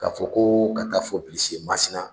K'a fɔ ko ka taa fɔ Bilisi ye Masina